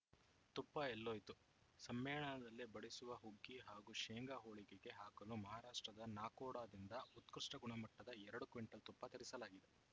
ತುಪ್ಪ ಎಲ್ಲೋಯ್ತು ಸಮ್ಮೇಳನದಲ್ಲಿ ಬಡಿಸುವ ಹುಗ್ಗಿ ಹಾಗೂ ಶೇಂಗಾ ಹೋಳಿಗೆಗೆ ಹಾಕಲು ಮಹಾರಾಷ್ಟ್ರದ ನಾಕೋಡಾದಿಂದ ಉತ್ಕೃಷ್ಟಗುಣಮಟ್ಟದ ಎರಡು ಕ್ವಿಂಟಲ್‌ ತುಪ್ಪ ತರಿಸಲಾಗಿದೆ